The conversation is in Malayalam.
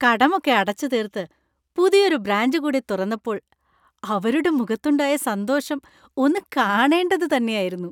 കടമൊക്കെ അടച്ചുതീർത്ത് പുതിയൊരു ബ്രാഞ്ച് കൂടി തുറന്നപ്പോൾ അവരുടെ മുഖത്തുണ്ടായ സന്തോഷം ഒന്ന് കാണേണ്ടത് തന്നെയായിരുന്നു.